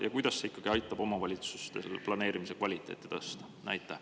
Ja kuidas see ikkagi aitab omavalitsustel planeerimise kvaliteeti tõsta?